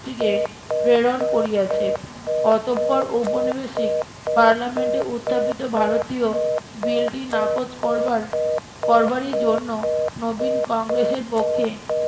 টিকে প্রেরন করিয়াছেন অতঃপর উপনিবেশিক পার্লামেন্টে উত্থাপিত ভারতীয় বিলটি নাকচ করবার করবারই জন্য নবীন কংগ্রেসের পক্ষে